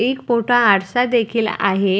एक मोठा आरसा देखील आहे.